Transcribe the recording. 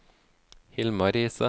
Hilmar Riise